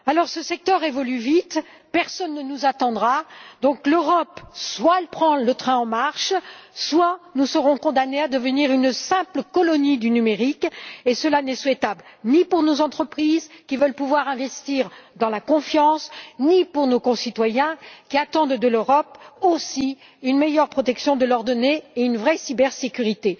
Ce secteur évolue vite, personne ne nous attendra. Soit l'Europe prend le train en marche, soit nous serons condamnés à devenir une simple colonie du numérique, et cela n'est souhaitable ni pour nos entreprises, qui veulent pouvoir investir dans la confiance, ni pour nos concitoyens, qui attendent aussi de l'Europe une meilleure protection de leurs données et une vraie cybersécurité.